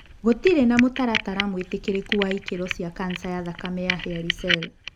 Gũtirĩ na mũtaratara mwĩtĩkĩrĩku wa ikĩro cia kanca ya thakame ya hairy cell.